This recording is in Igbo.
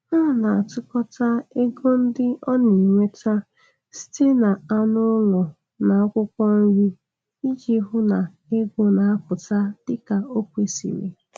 Ọ na-atụkọta ego ndị ọ na-enweta site n'anụ ụlọ na akwụkwọ nri iji hụ na ego na-aputa dịka o kwesịrị.